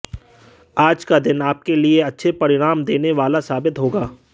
आज का दिन आपके लिए अच्छे परिणाम देने वाला साबित होगा